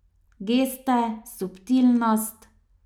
Geste, subtilnost ...